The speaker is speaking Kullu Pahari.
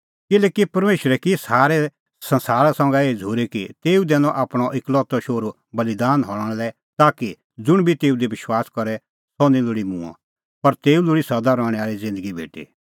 किल्हैकि परमेशरै की सारै संसारा संघै एही झ़ूरी कि तेऊ दैनअ आपणअ एकलौतअ शोहरू बल़ीदान हणां लै ताकि ज़ुंण बी तेऊ दी विश्वास करे सह निं लोल़ी मूंअ पर तेऊ लोल़ी सदा रहणैं आल़ी ज़िन्दगी भेटी